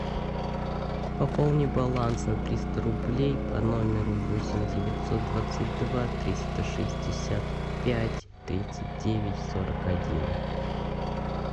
пополни баланс на триста рублей по номеру восемь девятьсот двадцать два триста шестьдесят пять тридцать девять сорок один